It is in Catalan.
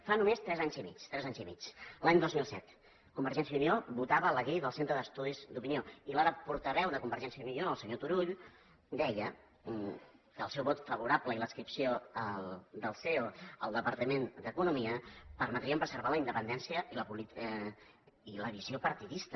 fa només tres anys i mig tres anys i mig l’any dos mil set convergència i unió votava la llei del centre d’estudis d’opinió i l’ara portaveu de convergència i unió el senyor turull deia que el seu vot favorable i l’adscripció del ceo al departament d’economia permetrien preservar la independència i la visió partidista